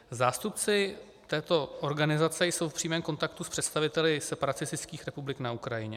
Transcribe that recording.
Zástupci této organizace jsou v přímém kontaktu s představiteli separatistických republik na Ukrajině.